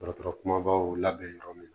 Dɔgɔtɔrɔ kumabaw labɛn yɔrɔ min